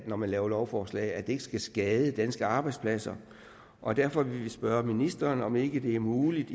når man laver lovforslag at det ikke skal skade danske arbejdspladser og derfor vil vi spørge ministeren om ikke det er muligt